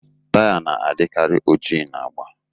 Taya na-adikarị oji na agba